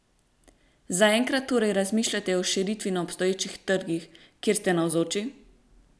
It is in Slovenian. Zaenkrat torej razmišljate o širitvi na obstoječih trgih, kjer ste navzoči?